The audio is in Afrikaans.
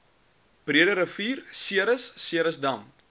breederivier ceres ceresdam